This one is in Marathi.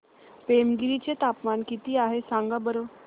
पेमगिरी चे तापमान किती आहे सांगा बरं